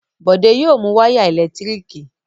Bọ̀dé yóò mu wáyà ẹ̀lẹ́tíríkì